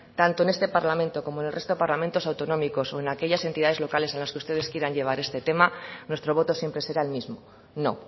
tanto en este parlamento como en el resto de parlamentos autonómicos o en aquellas entidades locales en las que ustedes quieran llevar este tema nuestro voto siempre será el mismo no